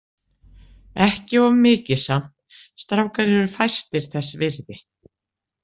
Ekki of mikið samt, strákar eru fæstir þess virði.